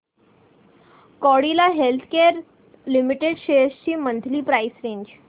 Cadila healthcare limited shares ची monthly price range